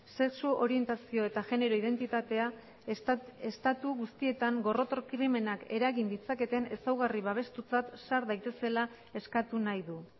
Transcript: sexu orientazio eta genero identitatea estatu guztietan gorroto krimenak eragin ditzaketen ezaugarri babestutzat sar daitezela eskatu nahi du